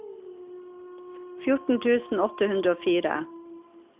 fjorten tusen åtte hundre og fire